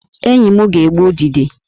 Enyi m ga-egbu udide